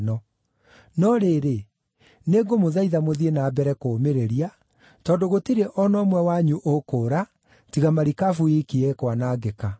No rĩrĩ, nĩngũmũthaitha mũthiĩ na mbere kũũmĩrĩria, tondũ gũtirĩ o na ũmwe wanyu ũkũũra; tiga marikabu iiki ĩkwanangĩka.